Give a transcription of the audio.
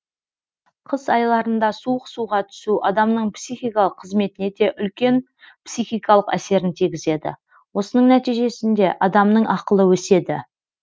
қыс айларында суық суға түсу адамның психикалық қызметіне де үлкен психикалық әсерін тигізеді осының нәтижесінде адамның ақылы өседі